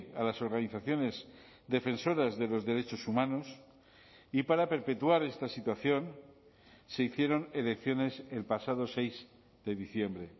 a las organizaciones defensoras de los derechos humanos y para perpetuar esta situación se hicieron elecciones el pasado seis de diciembre